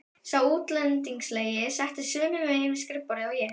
Sá útlendingslegi settist sömu megin við skrifborðið og ég.